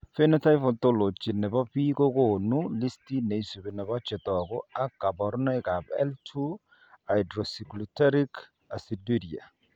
Phenotype ontology nebo biik kokonu listit neisbu nebo chetogu ak kaborunoik ab L2 hydroxyglutaric aciduria